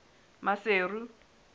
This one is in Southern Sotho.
maseru